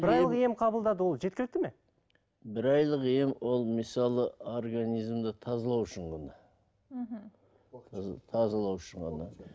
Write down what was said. бір айлық ем қабылдады ол жеткілікті ме бір айлық ем ол мысалы организмді тазалау үшін ғана мхм тазалау үшін ғана